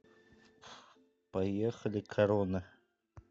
поехали корона